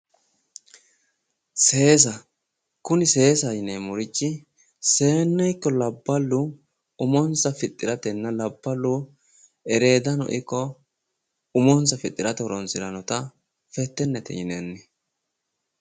Seesa kuni seesaho yineemmorichi seenne ikko labballu umonsa fixxiratenna labballu eredano ikko umonsa fixxirate horonsirannota fettennete yinanni.